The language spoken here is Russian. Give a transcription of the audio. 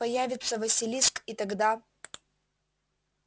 появится василиск и тогда